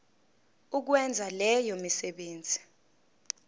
ukwenza leyo misebenzi